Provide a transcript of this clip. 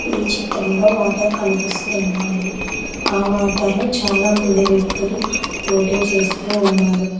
ఈ చిత్రంలో వాటర్ కనిపిస్తున్నాయి ఆ వాటర్ లో చాలా మంది వ్యక్తులు బోటింగ్ చేస్తూ ఉన్నారు.